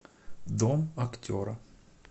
дом актера